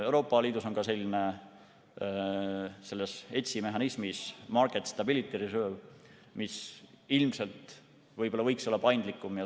Euroopa Liidus on ka ETS‑i mehhanismis Market Stability Reserve, mis ilmselt võiks olla paindlikum.